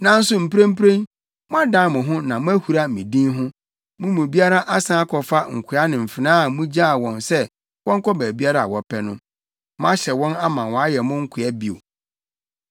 Nanso mprempren, moadan mo ho na moahura me din ho; mo mu biara asan akɔfa nkoa ne mfenaa a mugyaa wɔn sɛ wɔnkɔ baabiara a wɔpɛ no. Moahyɛ wɔn ama wɔayɛ mo nkoa bio.